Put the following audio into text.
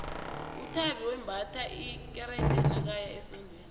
uthabi wembatha isikerde nakaya esondweni